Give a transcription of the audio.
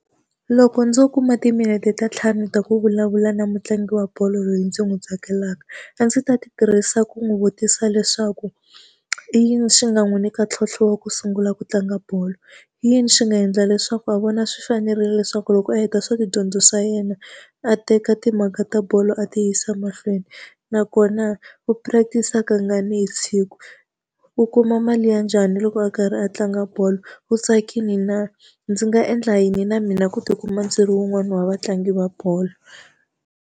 Loko ndzo kuma timinete ta ntlhanu ta ku vulavula na mutlangi wa bolo loyi ndzi n'wi tsakelaka, a ndzi ta ti tirhisa ku n'wi vutisa leswaku i yini xi nga n'wi nyika ntlhontlho wa ku sungula ku tlanga bolo? I yini swi nga endla leswaku a vona swi fanerile leswaku loko a heta swa tidyondzo swa yena a teka timhaka ta bolo a ti yisa mahlweni? Nakona va practice-a kangani hi siku? U kuma mali ya njhani loko a karhi a tlanga bolo? U tsakile na? Ndzi nga endla yini na mina ku tikuma ndzi ri wun'wani wa vatlangi va bolo?